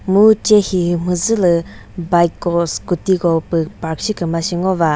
mu che hi mhüzülü bike ko scooty ko püh park shiküma sü ngo va.